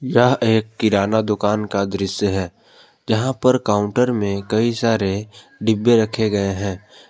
यह एक किराना दुकान का दृश्य है जहां पर काउंटर में कई सारे डिब्बे रखे गए है।